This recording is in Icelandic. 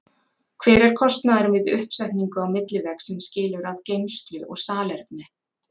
Hver er kostnaðurinn við uppsetningu á millivegg sem skilur að geymslu og salerni?